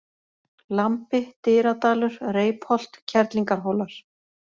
Lambi, Dyradalur, Reipholt, Kerlingarhólar